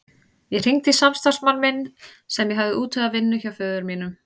Ég hringdi í samstarfsmann minn sem ég hafði útvegað vinnu hjá föður mínum.